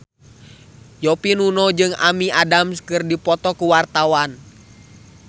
Yovie Widianto jeung Amy Adams keur dipoto ku wartawan